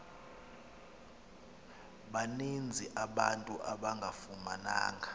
baninzi abantu abangafumananga